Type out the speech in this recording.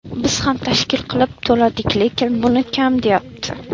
Biz ham tashkil qilib to‘ladik, lekin buni kam deyapti.